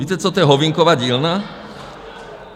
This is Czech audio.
Víte, co to je holdingová dílna?